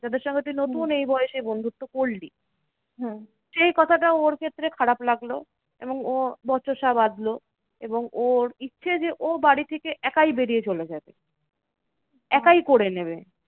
তাদের সঙ্গে তুই নতুন এই বয়সে বন্ধুত্ব করলি। এই কথাটা ওর ক্ষেত্রে খারাপ লাগলো এবং ও বচসা বাঁধলো এবং ওর ইচ্ছে যে ও বাড়ি থেকে একাই বেরিয়ে চলে যাবে। একাই করে নেবে।